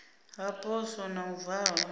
ha poswo na u valwa